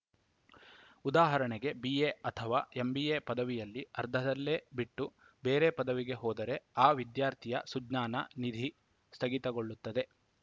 ಉದಾಹರಣೆಗೆ ಬಿಎ ಅಥವಾ ಎಂಬಿಎ ಪದವಿಯಲ್ಲಿ ಅರ್ಧದಲ್ಲೆ ಬಿಟ್ಟು ಬೇರೆ ಪದವಿಗೆ ಹೋದರೆ ಆ ವಿದ್ಯಾರ್ಥಿಯ ಸುಜ್ಞಾನ ನಿಧಿ ಸ್ಥಗಿತಗೊಳ್ಳುತ್ತದೆ